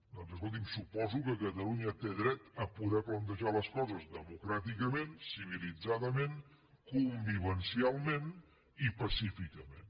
doncs escolti’m suposo que catalunya té dret a poder plantejar les coses democràticament civilitzadament convivencialment i pacíficament